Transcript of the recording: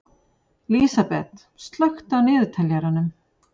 Lísabet, slökktu á niðurteljaranum.